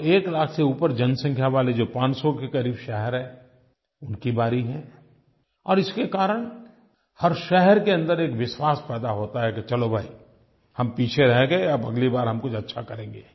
अब 1 लाख से ऊपर जनसँख्या वाले जो 500 के क़रीब शहर हैं उनकी बारी है और इसके कारण हर शहर के अन्दर एक विश्वास पैदा होता है कि चलो भाई हम पीछे रह गए अब अगली बार हम कुछ अच्छा करेंगे